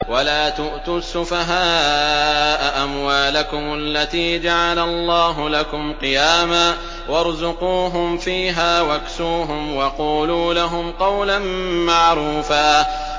وَلَا تُؤْتُوا السُّفَهَاءَ أَمْوَالَكُمُ الَّتِي جَعَلَ اللَّهُ لَكُمْ قِيَامًا وَارْزُقُوهُمْ فِيهَا وَاكْسُوهُمْ وَقُولُوا لَهُمْ قَوْلًا مَّعْرُوفًا